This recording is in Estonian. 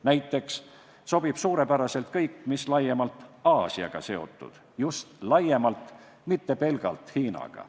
Näiteks sobib suurepäraselt kõik, mis laiemalt Aasiaga seotud – just laiemalt, mitte pelgalt Hiinaga.